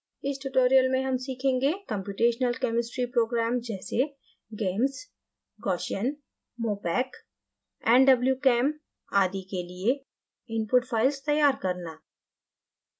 इस tutorial में हम सीखेंगे: कम्प्यूटेशनल chemistry programmes जैसे: gamess gaussian mopac nwchem आदि के लिए input files तैयार करना